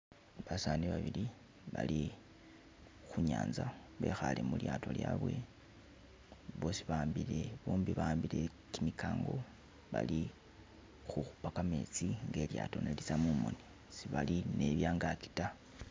Basani babili bali khunyaza bekhale mulyato lyawe bosi bahambile, bombi bahambile kimikango bali kukhupa kametsi nga ne lilyato nelitsa mumoni. sebali ni byangasi ta.